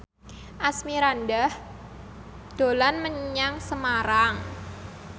Asmirandah dolan menyang Semarang